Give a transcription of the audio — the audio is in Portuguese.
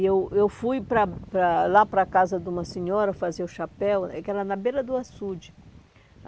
E eu eu fui para para lá para a casa de uma senhora fazer o chapéu, eh que era na beira do açude.